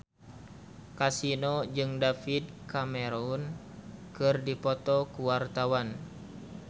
Kasino jeung David Cameron keur dipoto ku wartawan